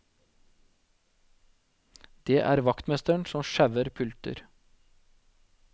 Det er vaktmesteren som sjauer pulter.